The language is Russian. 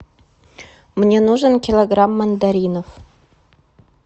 мне нужен килограмм мандаринов